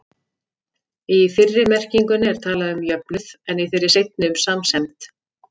Í fyrri merkingunni er talað um jöfnuð, en í þeirri seinni um samsemd.